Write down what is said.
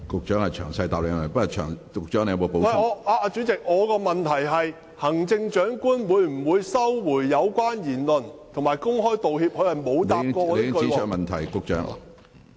主席，我提出的補充質詢是，行政長官會否收回有關言論，並且公開道歉，但局長沒有回答我的補充質詢。